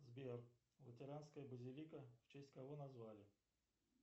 сбер лютеранская базилика в честь кого назвали